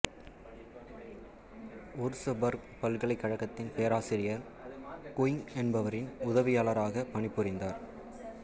Würzburg பல்கலைக்கழகத்தின் பேராசிரியர் Quincke என்பவரின் உதவியாளராகப் பணி புரிந்தார்